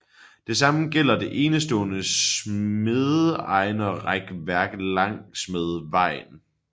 Det samme gælder det enestående smedejernsrækværk langsmed vejen